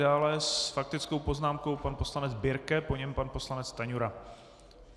Dále s faktickou poznámkou pan poslanec Birke, po něm pan poslanec Stanjura.